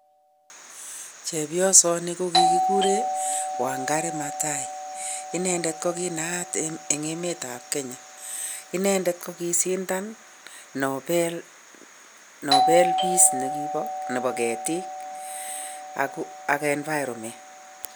chebyosani ko kiguree wangari mathahi, inendet ko kinaaat eng emet ab kenya , inemdet ko kisidan Nobel peace negiba ketik ak] cs] nvironment